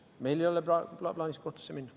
Meil ei ole plaanis kohtusse minna.